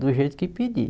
Do jeito que pedir.